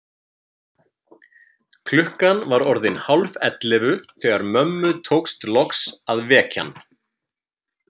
Klukkan var orðin hálfellefu þegar mömmu tókst loks að vekja hann.